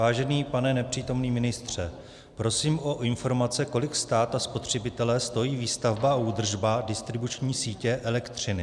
Vážený pane nepřítomný ministře, prosím o informace, kolik stát a spotřebitele stojí výstavba a údržba distribuční sítě elektřiny.